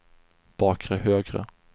bakre högra